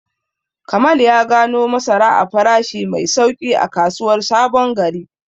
Kamal ya gano masara a farashi mai sauƙi a kasuwar Sabon Gari.